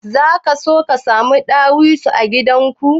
Zaka so ka samu dawisu a gidan ka?